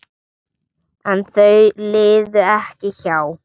En þau liðu ekki hjá.